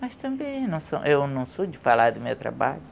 Mas também eu não eu não sou de falar do meu trabalho.